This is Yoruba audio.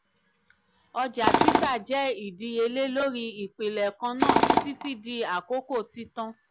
ọ̀jà títà jẹ ìdíyèlé lori ìpìlẹ̀ kanna títí di àkókò títan.